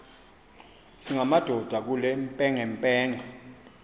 singamadoda kule mpengempenge